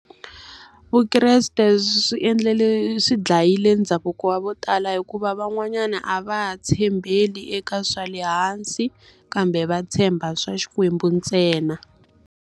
Vukreste swi endlele swi dlayile ndhavuko wa vo tala hikuva van'wanyana a va tshembeli eka swa le hansi, kambe va tshemba swa Xikwembu ntsena.